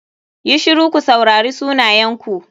YI shiru ku saurari sunayenku.